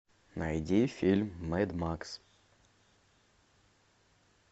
найди фильм мэд макс